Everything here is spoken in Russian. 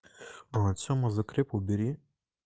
вот сема закреп убери